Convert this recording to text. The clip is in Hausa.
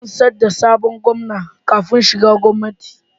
Ina rantsar da sabon Gomna kafin shiga gwamnati